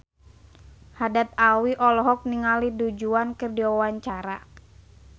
Haddad Alwi olohok ningali Du Juan keur diwawancara